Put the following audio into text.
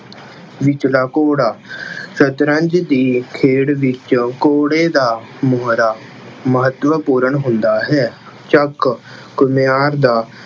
ਵਿਚਲਾ ਘੋੜਾ- ਸਤਰੰਜ਼ ਦੀ ਖੇਡ ਵਿੱਚ ਘੋੜੇ ਦਾ ਮੋਹਰਾ ਮਹੱਤਵਪੂਰਨ ਹੁੰਦਾ ਹੈ। ਚੱਕ- ਘੁੰਮਿਆਰ ਦਾ